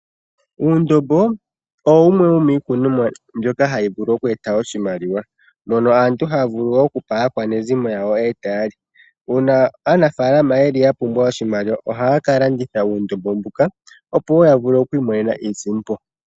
Uundombo owo wumwe womiikunomwa mbyoka hayi vulu eta oshimaliwa. Aantu ohaya vulu wo okupa aakwanezimo yawo e taya li. Uuna aanafalama ya pumbwa oshimaliwa ohaya ka landitha uundombo mbuka, opo yi imonene iisimpo.